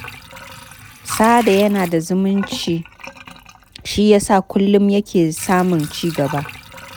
Sada yana da zumunci shi ya sa kullum yake samun cigaba.